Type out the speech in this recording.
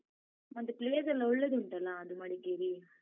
ಮತ್ತೇ place ಎಲ್ಲ ಒಳ್ಳೆದುಂಟಲ್ಲ? ಅದು ಮಡಿಕೇರಿ.